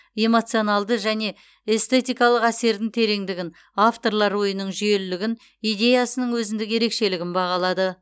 эмоционалды және эстетикалық әсердің тереңдігін авторлар ойының жүйелілігін идеясының өзіндік ерекшелігін бағалады